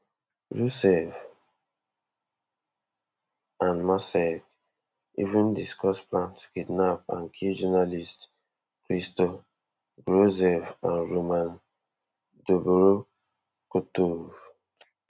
roussev and marsalek even discuss plan to kidnap and kill journalists christo grozev and roman dobrokhotov